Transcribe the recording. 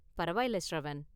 பரவாயில்ல ஷ்ரவன்.